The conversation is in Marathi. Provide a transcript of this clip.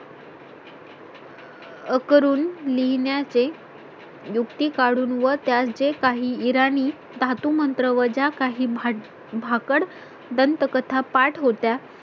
अकरून लिहिण्या चे युक्ती काढून व त्या जे काही इराणी धातू मंत्र व जा काही भाकड दंतकथा पाठ होत्या